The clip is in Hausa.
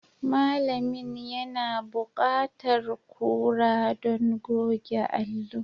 Malamin yana buƙatar kura don goge allo.